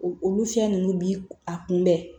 Olu fiɲɛ ninnu bi a kunbɛn